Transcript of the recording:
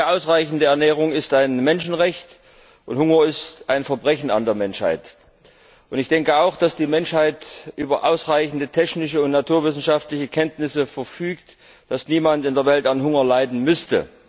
Ausreichende Ernährung ist ein Menschenrecht, und Hunger ist ein Verbrechen an der Menschheit. Ich denke auch, so dass die Menschheit über ausreichende technische und naturwissenschaftliche Kenntnisse verfügt, dass niemand in der Welt an Hunger leiden müsste.